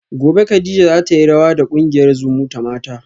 gobe kadija zatayi rawa da kungiyar zumutamata